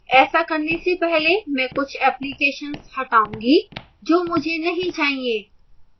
ऐसा करने से पहले मैं कुछ applications हटाऊँगा जो मुझे नहीं चाहिए